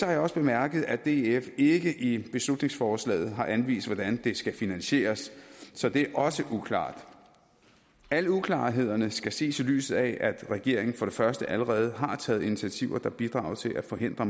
jeg også bemærket at df ikke i beslutningsforslaget har anvist hvordan det skal finansieres så det er også uklart alle uklarhederne skal ses i lyset af at regeringen for det første allerede har taget initiativer der bidrager til at forhindre